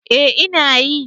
Eh ina yi